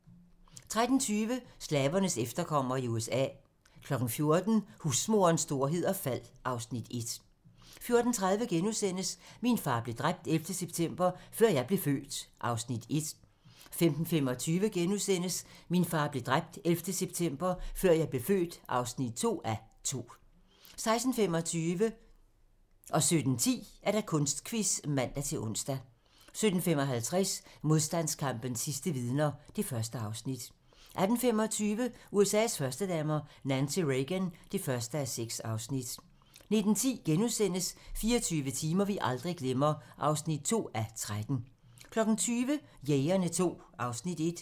13:20: Slavernes efterkommere i USA 14:00: Husmorens storhed og fald (Afs. 1) 14:30: Min far blev dræbt 11. september – før jeg blev født (1:2)* 15:25: Min far blev dræbt 11. september - før jeg blev født (2:2)* 16:25: Kunstquiz (man-ons) 17:10: Kunstquiz (man-ons) 17:55: Modstandskampens sidste vidner (Afs. 1) 18:25: USA's førstedamer - Nancy Reagan (1:6) 19:10: 24 timer, vi aldrig glemmer (2:13)* 20:00: Jægerne II (Afs. 1)